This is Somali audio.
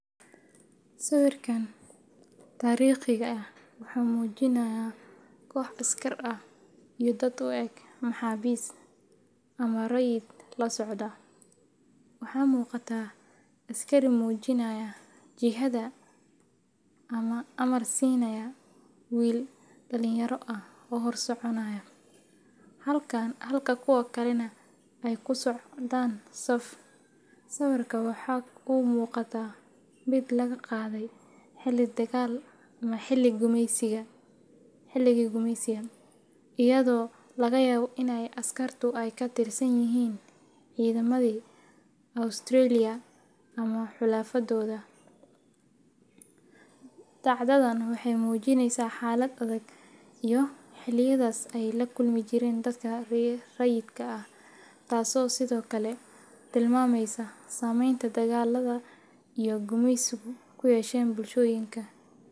Sawirkan taariikhiga ah wuxuu muujinayaa koox askar ah iyo dad u eg maxaabiis ama rayid la socda. Waxaa muuqata askari muujinaya jihada ama amar siinaya wiil dhalinyaro ah oo hor soconaya, halka kuwa kalena ay ku socdaan saf. Sawirku waxa uu u muuqdaa mid laga qaaday xilli dagaal ama xilligii gumeysiga, iyadoo laga yaabo in askartu ay ka tirsan yihiin ciidamadii Australia ama xulafadooda. Dhacdadan waxay muujinaysaa xaalad adag oo xilliyadaas ay la kulmi jireen dadka rayidka ah, taasoo sidoo kale tilmaamaysa saamaynta dagaalada iyo gumeysigu ku yeesheen bulshooyinka.